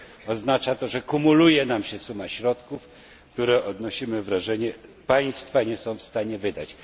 Oznacza to, że kumuluje nam się suma środków, które, odnosimy wrażenie, państwa nie są w stanie wydać.